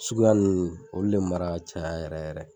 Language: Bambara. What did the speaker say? Suguya nunnu olu le mara ka caya yɛrɛ yɛrɛ.